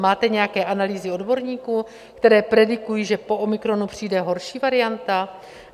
Máte nějaké analýzy odborníků, které predikují, že po omikronu přijde horší varianta?